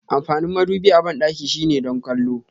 Amfanin madubi a bandaki shine don kwallo.